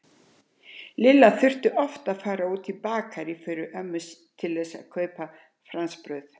Lilla þurfti oft að fara út í Bakarí fyrir ömmu til að kaupa franskbrauð.